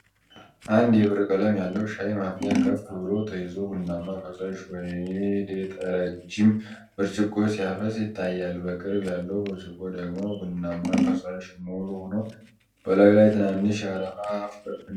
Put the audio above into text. አንድ የብር ቀለም ያለው ሻይ ማፍያ ከፍ ብሎ ተይዞ ቡናማ ፈሳሽ ወደ ረጅም ብርጭቆ ሲያፈስ ይታያል። በቅርብ ያለው ብርጭቆ ደግሞ ቡናማ ፈሳሽ ሙሉ ሆኖ፣ በላዩ ላይ ትናንሽ የአረፋ ፍንጣቂዎች አሉ።